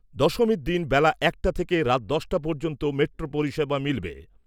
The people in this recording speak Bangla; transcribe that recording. দশমীর দিন বেলা একটা থেকে রাত দশটা পর্যন্ত মেট্রো পরিষেবা মিলবে।